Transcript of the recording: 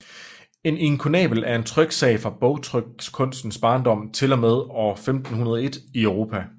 En inkunabel er en tryksag fra bogtrykkunstens barndom til og med år 1501 i Europa